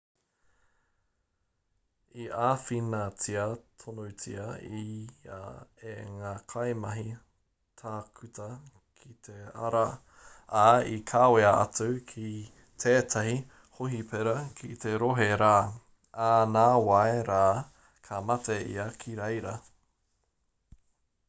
i āwhinatia tonutia ia e ngā kaimahi tākuta ki te ara ā i kawea atu ki tētahi hōhipera ki te rohe rā ā nāwai rā ka mate ia ki reira